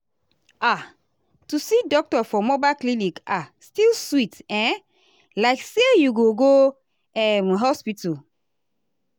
ah to see doctor for mobile clinic ah still sweet um like say you go go um hospital.